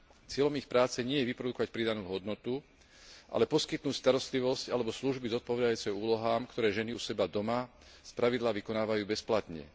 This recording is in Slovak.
Cieľom ich práce nie je vyprodukovať pridanú hodnotu, ale poskytnúť starostlivosť alebo služby zodpovedajúce úlohám, ktoré ženy u seba doma spravidla vykonávajú bezplatne.